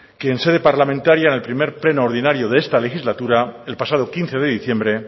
que en sede parlamentaria en el primer pleno ordinario de esta legislatura el pasado quince de diciembre